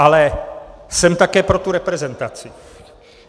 Ale jsem také pro tu reprezentaci.